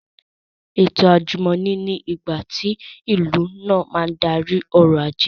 Ètò àjùmọ̀ní ni ìgbàtí tí ìlú náà bá n darí ọrọ̀ ajé